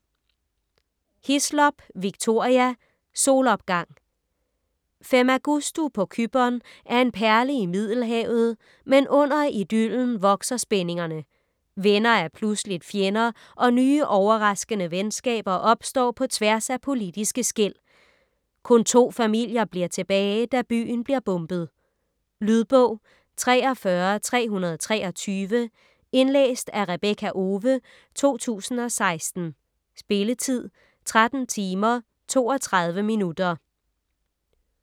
Hislop, Victoria: Solopgang Femagustu på Cypern er en perle i middelhavet, men under idyllen vokser spændingerne. Venner er pludseligt fjender og nye overraskende venskaber opstår på tværs af politiske skel. Kun to familier bliver tilbage da byen bliver bombet. Lydbog 43323 Indlæst af Rebekka Owe, 2016. Spilletid: 13 timer, 32 minutter.